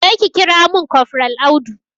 Jeka kira mun kofral Audu